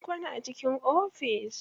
Mun kwana a cikin ofis.